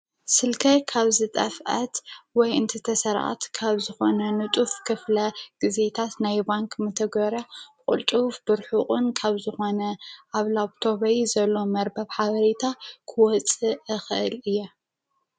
ስልከይ ካብ ዝጠፍአት ወይ እንት ተሰርቀት ካብ ዝኾነ ንጡፍ ክፍለ ጊዜታት ናይ ባንኪ መተግበርያ ቅልጡፍ ብርሑቅን ካብ ዝኾነ ኣብ ላፕቶበይ ዘሎ መርበብ ሓበሬታ ክወፅእ እክእል እየ።